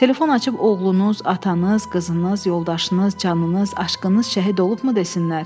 Telefon açıb oğlunuz, atanız, qızınız, yoldaşınız, canınız, aşqınız şəhid olubmu desinlər?